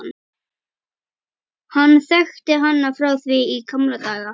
Hann þekkti hana frá því í gamla daga.